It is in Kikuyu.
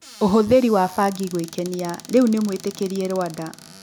ũhũthĩri wa bangi gwĩkenia rĩu nĩ mwĩtĩkĩrie Rwanda.